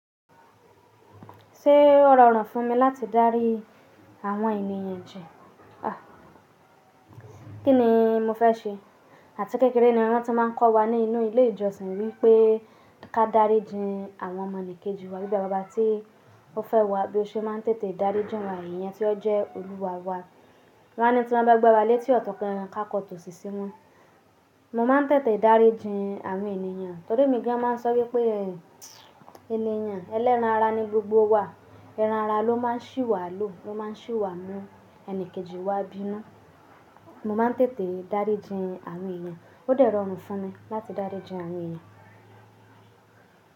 Ṣé ó rọrùn fún mi láti dárí àwọn ènìyàn jẹ? Kí ni mo fẹ́ ṣe? Àti kékeré ni wọ́n ti máa ń kọ́ wa ní inú ilé ìjọsìn wípé ká dárí jin àwọn ọmọnìkejì wa bíi bàbá wa tí ó fẹ́ wa bí ó ṣe máa ń tètè dárí jin wa èèyàn tí ó jẹ́ olúwa wa. Wọ́n á ní tí wọ́n bá gbé wa létí ọ̀tọ̀ kan, ká kọ́tò sí i sini. Mo máa ń tètè dárí jin àwọn ènìyàn torí emí gan máa ń sọ wípé ènìyàn ẹlẹ́ran ara ni gbogbo wa. Ẹran ara ló máa ń ṣì wá lò, ló máa ń ṣì wá mú ẹnìkejì wa bínú. Mo máa ń tètè dárí jin àwọn ènìyàn. Ó dẹrọ̀ọ́rùn fún mi láti dárí jin àwọn ènìyàn.